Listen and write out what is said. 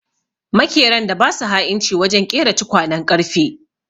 Makeran da ba su ha'inci wajen ƙera tukwanen ƙarfe.